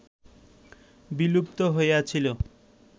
বিলুপ্ত হইয়াছিল